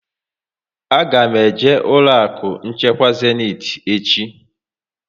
A ga m eje ụlọ akụ nchekwa Zéniti echi